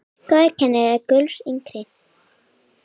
Góður kennari er gulls ígildi.